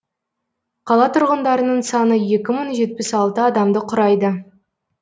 қала тұрғындарының саны екі мың жетпіс алты адамды құрайды